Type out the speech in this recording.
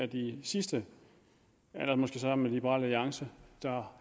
de sidste måske sammen med liberal alliance